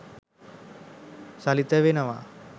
සලිත වෙනවා.